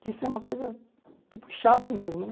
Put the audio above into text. que isso é uma coisa tipo chata mesmo, né?